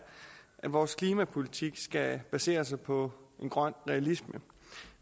at vores klimapolitik skal basere sig på grøn realisme